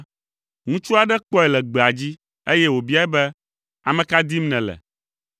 ŋutsu aɖe kpɔe le gbea dzi, eye wòbiae be, “Ame ka dim nèle?”